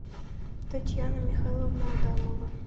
татьяна михайловна адамова